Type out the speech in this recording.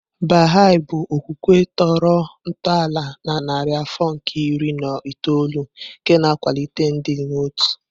Baha'i bụ okwukwe tọrọ ntọala na narị afọ nke iri na itoolu nke na-akwalite ịdị n'otu.